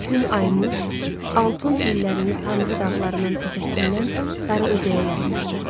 Gün ayılmış, altun tellərini Tanrı dağlarının təpəsindən sarı özəyə yaymışdı.